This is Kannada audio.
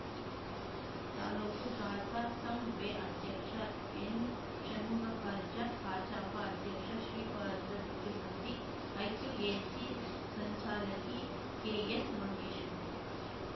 ತಾಲೂಕು ಕಸಾಸಾಂವೇ ಅಧ್ಯಕ್ಷ ಎನ್‌ಷಣ್ಮುಖಾರ್ಜಾ ಕಜಾಪ ಅಧ್ಯಕ್ಷ ಶ್ರೀಪಾದ ಬಿಚ್ಚುಗತ್ತಿ ಐಕ್ಯೂಎಸಿ ಸಂಚಾಲಕಿ ಕೆಎಸ್‌ಮಹೇಶ್ವರಿ